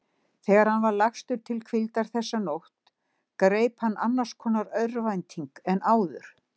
Þegar hann var lagstur til hvíldar þessa nótt greip hann annars konar örvænting en áður.